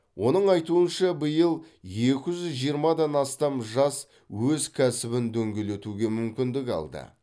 оның айтуынша биыл екі жүз жиырмадан астам жас өз кәсібін дөңгелетуге мүмкіндік алды